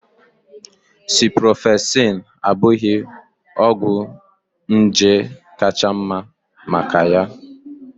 Ciprofloxacin abụghị ọgwụ nje kacha mma maka ya?